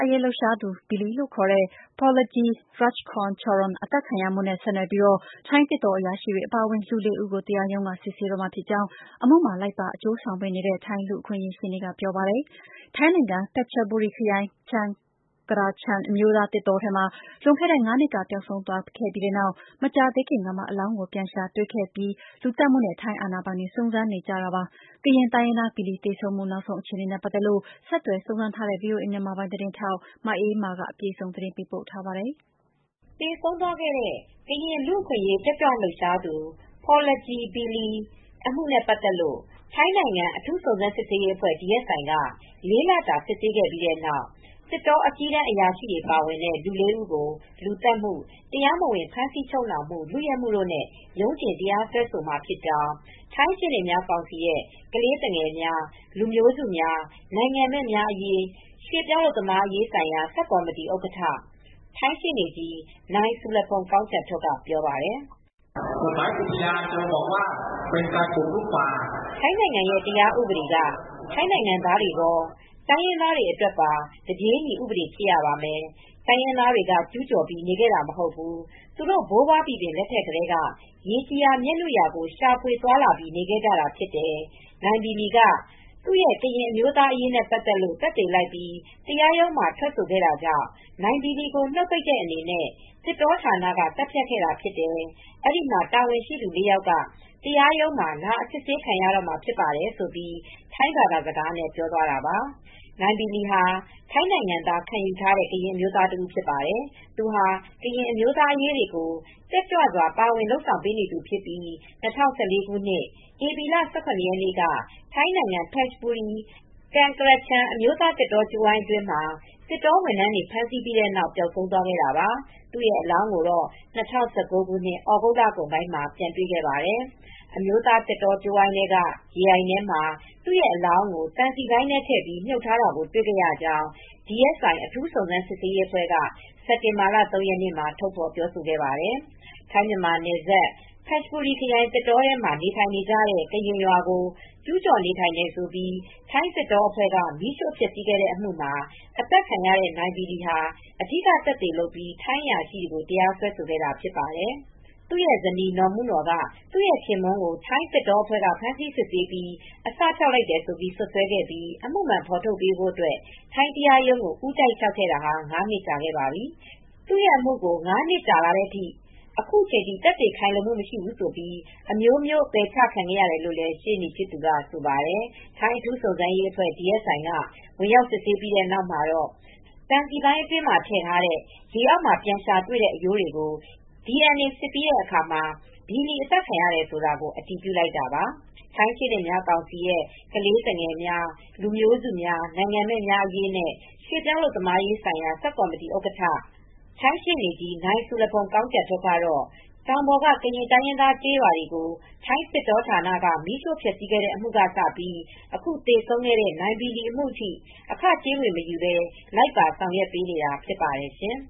အရေး လှုပ်ရှားသူ Billy ခေါ် Porlajee Rakchongcharoen သတ်ဖြတ်ခံရမှုနဲ့ ဆက်နွယ်ပြီး ထိုင်းသစ်တော အရာရှိတွေ အပါအဝင် လူ ၄ ဦးကို တရားရုံးက စစ်ဆေးတော့မှာဖြစ်ကြောင်း အမှုမှာလိုက်ပါ အကျိုုးဆောင်ပေးနေတဲ့ ထိုင်းလူ့အခွင့်အရေး ရှေ့နေက ပြောပါတယ်။ ထိုင်းနိုင်ငံ Phetchaburi ခရိုင် Kaeng Krachan အမျိုးသားသစ်တောထဲမှာ လွန်ခဲ့တဲ့ ၅ နှစ်ကပျောက်ဆုံးသွားခဲ့ပြီးနောက် မကြာသေးခင်ကမှ အလောင်းကို ပြန်ရှာတွေ့ခဲ့ပြီးနောက် လူသတ်မှုနဲ့ ထိုင်းအာဏာပိုင်တွေ စုံစမ်းစစ်ဆေးနေကြတာပါ။ ကရင်တိုင်းရင်းသား Billy သေဆုံးမှု နောက်ဆုံးအခြေအနေနဲ့ ပတ်သက်လို့ ဆက်သွယ်စုံစမ်းထားတဲ့ ဗွီအိုအေ မြန်မာပိုင်း ထိုင်းအခြေစိုက် သတင်းထောက် မအေးအေးမာက သတင်းပေးပို့ထားပါတယ်။ သေဆုံးသွားတဲ့ ကရင် လူ့အခွင့်အရေး တက်ကြွလှုပ်ရှားသူ Porlajee "Billy" Rakchongcharoen အမှုနဲ့ ပတ်သက်လို့ ထိုင်းနိုင်ငံ အထူးစုံစမ်းစစ်ဆေးရေးအဖွဲ့ DSI က လေးလတာ စစ်ဆေးခဲ့ပြီးတဲ့နောက် သစ်တောအကြီးတန်း အရာရှိတွေ ပါဝင်နေတဲ့ လေး ဦးကို လူသတ်မှု၊ တရားမဝင် ဖမ်းဆီးချုပ်နှောင်မှု၊ လုယက်မှုတို့နဲ့ ရုံးတင်တရားစွဲမှာ ဖြစ်ကြောင်း ထိုင်းရှေ့နေများကောင်စီရဲ့ ကလေးသူငယ်များ လူမျိုးစုများ နိုင်ငံမဲ့များ အရေးနဲ့ ရွှေ့ပြောင်း အလုပ်သမားရေးဆိုင်ရာ ဆပ်ကော်မတီဥက္ကဋ္ဌ ထိုင်းရှေ့နေကြီး နိုင်ဆူရဖုန်း Surapong Kongchantuk က ပြောပါတယ်။ “ထိုင်းနိုင်ငံရဲ့ တရားဥပဒေက ထိုင်းနိုင်ငံသားတွေကော၊ တိုင်းရင်းသားတွေအတွက်ပါ တပြေးညီဥပဒေဖြစ်ရမယ်။ တိုင်းရင်းသားတွေက ကျူးကျော်ပြီး နေခဲ့တာ မဟုတ်ဘူး။ သူတို့ ဘိုးဘွားဘီဘင် လက်ထက်ကတည်းက ရေကြည်ရာမြက်နုရာကို ရှာဖွေသွားလာပြီး နေခဲ့ကြတာ ဖြစ်တယ်။ နိုင်ဘီလီက သူ ကရင်အမျိုးသားတွေအရေးနဲ ပတ်သက်လို့ သက်သေလိုက်ပြီး တရားရုံးမှာ ထွက်ဆိုခဲ့လို့ နိုင်ဘီလီကိုနှုတ်ပိတ်တဲ့ အနေနဲ့ သစ်တောဌာနက သတ်ဖြတ်ခဲ့တာ ဖြစ်တယ်။ အဲဒီ မှာတာဝန်ရှိသူ လေး ယောက်က တရားရုံးမှာ လာအစစ်ဆေးခံရတော့မှာ ဖြစ်ပါတယ်။” ထိုင်းဘာသာစကားနဲ့ ပြောသွားတာပါ။ နိုင်ဘီလီယာ ထိုင်းနိုင်ငံသား ခံယူထားတဲ့ ကရင်လူမျိုး တဦး ဖြစ်ပါတယ်။ သူဟာ ကရင်အမျိုးသားအရေးတွေကို တက်ကြွစွာ ပါဝင် လုပ်ဆောင်ပေးနေသူဖြစ်ပြီး ၂၀၁၄ ခုနှစ် ပြီလ ၁၇ ရက်နေ့က ထိုင်းနိုင်ငံ ဖက်ချဘူရီခရိုင်၊ ကန်ကရချန် အမျိုးသား သစ်တောကြိုးဝိုင်း အတွင်းမှာ သစ်တောဝန်ထမ်းတွေ ဖမ်းဆီးပြီးနောက် ပျောက်ဆုံးသွားခဲ့တာပါ။ သူ့ရဲ အလောင်းကိုတော့ ၂၀၁၉ ခု သြဂုတ်လ လကုန်ပိုင်းမှာ ပြန်တွေ့ခဲ့ပါတယ်။ အမျိုးသား သစ်တောကြိုးဝိုင်းထဲက ရေအိုင်ထဲမှာ သူအလောင်းကို သံစည်ပိုင်းထဲထည့်ပြီး မြှုပ်ထားတာကို တွေခဲ့ရကြောင်း DSI အထူးစုံစမ်းစစ်ဆေးရေးအဖွဲ့က စက်တင်ဘာလ ၃ ရက်နေ့မှာ ထုတ်ဖော်ခဲ့ပါတယ်။ ထိုင်းမြန်မာနယ်စပ်ဘက်ခ ျဘူရီ ခရိုင် သစ်တောထဲမှာ နေထိုင်နေကြတဲ့ ကရင်ရွာကိုကျူးကျော်နေထိုင်တယ်ဆိုပြီး ထိုင်းသစ်တောအဖွဲ့က မီးရိူ့ဖျက်ဆီးခဲ့တဲ့ အမှုမှာ အသတ်ခံရတဲ့ နိုင်ဘီလီဟာ အဓိကသက်သေလုပ်ပြီး ထိုင်းအရာရှိတွေကို တရားစွဲဆို ခဲ့တာဖြစ်ပါတယ်။ သူရဲ့ဇနီးနော်။ မုနော်ကသူ့ရဲ့ခင်ပွန်း ကို ထိုင်းသစ်တောအဖွဲ့က ဖမ်းဆီးစစ်ဆေးပြီး အစဖျောက်လိုက်တယ်လို့ စွပ်စွဲခဲ့ပြီး အမှုမှန် ဖေါ်ထုတ်ပေးဖို့ ထိုင်းတရားရုံးကို ဦးတိုက် လျောက်ထားခဲ့တာ ငါးနှစ်ကြာခဲ့ပါပြီ။ သူ့အမှုကို ငါးနှစ်ကြာလာတဲ့ အခုချိန်ထိ သက်သေ ခိုင်လုံမှု မရှိဘူးဆိုပြီး အမျိုးမျိုး ပယ်ချခံရတယ်လို့ ရှေနေ့ ဖြစ်သူက ဆိုပါတယ်။ ထိုင်း အထူးစုံစမ်းရေးအဖွဲ့DSI က ဝင်ရောက် စစ်ဆေးပြီးတဲ့နောက်မှာတော့ သံစည်ပိုင်းအတွင်းမှာ ထည့်ထားတဲ့ ရေအောက်မှာ ပြန်ရှာတွေ့တဲ့ အရိုးတွေကို DNA စစ်ပြီးတဲ့အခါမှာ ဘီလီ အသတ်ခံရတယ်ဆိုတာ အတည်ပြုလိုက်တာပါ။ ထိုင်းရှေ့နေများကောင်စီရဲ့ ကလေးသူငယ်များ လူမျိုးစု များနိုင်ငံမဲ့များအရေးနဲ့ ရွှေ့ပြောင်းအလုပ်သမားရေးဆိုင်ရာ ဆပ်ကော်မတီဥက္ကဋ္ဌ ထိုင်းရှေ့နေကြီး နိုင်ဆူရဖုန်း Surapong Kongchantuk ကတော့ တောင်ပေါ်ကရင် တိုင်းရင်းသားတွေ ကျေးရွာကို ထိုင်းသစ်တောဌာနက မီးရှို့ ဖျက်ဆီးခဲ့တဲ့အမူကစပြီး အခုသေဆုံးခဲ့တဲ့ နိုင်ဘီလီအမူထိ အခ ကြေးငွေမယူဘဲ လိုက်ပါဆောင်ရွက်ပေးနေတာ ဖြစ်ပါတယ်ရှင်